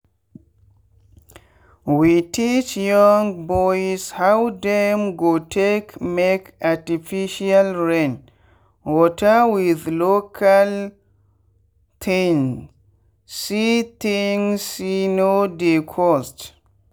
we teach young boys how dem go take make artificial rain water with local thingse thingse no dey cost.